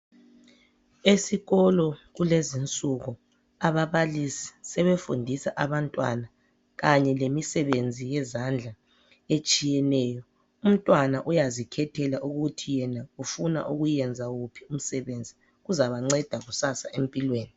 Esikolo kulezi insuku ababalisi sebefundisa abantwana kanye lemisebenzi yezandla etshiyeneyo. Umntwana uyazikhethela ukuthi yena ufuna ukuyenza wuphi umsebenzi. Kuzabanceda kusasa empilweni.